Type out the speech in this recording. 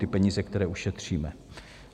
Ty peníze, které ušetříme.